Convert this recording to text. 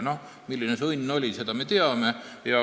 Noh, milline see õnn oli, seda me teame.